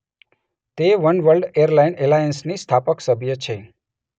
તે Oneworld airline એલાયન્સની સ્થાપક સભ્ય છે.